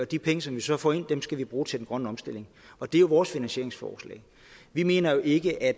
de penge som vi så får ind skal vi bruge til den grønne omstilling og det er vores finansieringsforslag vi mener jo ikke at